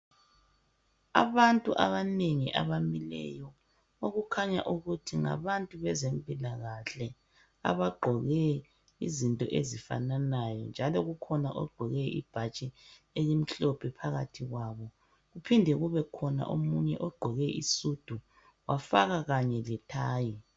Abantu abanengi abamileyo okukhanya ukuthi ngabantu bezempilakahle abagqoke izinto ezifananayo njalo kukhona ogqoke ibhatshi elimhlophe phakathi kwabo. Kuphinde kubekhona omunye ogqoke isudu wafaka kanye lethayi.